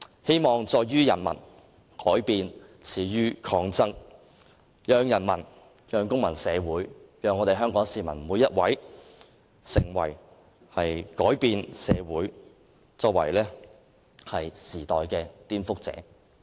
"希望在於人民，改變始於抗爭"，讓人民、讓公民社會、讓每一位香港市民成為改變社會和時代的顛覆者。